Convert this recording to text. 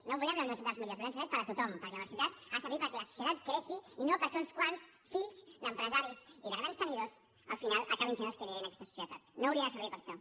no volem la universitat dels millors volem la universitat per a tothom perquè la universitat ha de servir perquè la societat creixi i no perquè uns quants fills d’empresaris i de grans tenidors al final acabin sent els que liderin aquesta societat no hauria de servir per a això